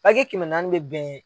kɛmɛ naani bɛ bɛn